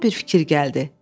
Ağlıma bir fikir gəldi.